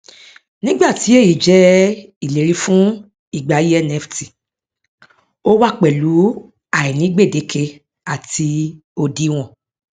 nígbà tí èyí jẹ ìlérí fún ìgbà ayé nft ó wá pẹlú àìní gbédékè àti òdiwọn